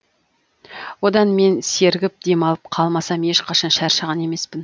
одан мен сергіп демалып қалмасам ешқашан шаршаған емеспін